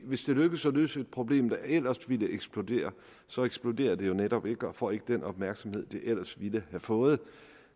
hvis det lykkes at løse et problem der ellers ville eksplodere så eksploderer det jo netop ikke og får ikke den opmærksomhed det ellers ville have fået